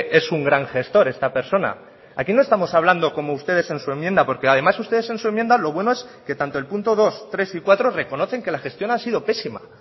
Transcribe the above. es un gran gestor esta persona aquí no estamos hablando como ustedes en su enmienda porque además ustedes en su enmienda lo bueno es que tanto el punto dos tres y cuatro reconocen que la gestión ha sido pésima